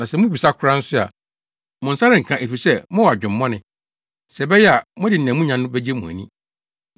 Na sɛ mubisa koraa nso a, mo nsa renka, efisɛ mowɔ adwemmɔne, sɛ ɛbɛyɛ a mode nea munya no begye mo ani.